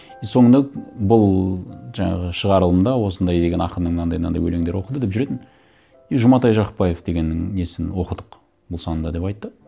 и соңында бұл жаңағы шығарылымда осындай деген ақынның мынандай мынандай өлеңдері оқылды деп жүретін и жұматай жақыпбаев дегеннің несін оқыдық бұл санда деп айтты